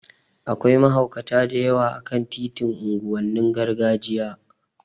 Akwai mahaukata da yawa a kan titin unguwannin gargajiya